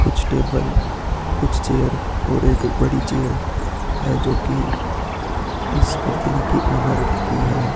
कुछ टेबल कुछ चेयर और एक बड़ी चेयर है जोकि इस कंपनी की ओनर की है।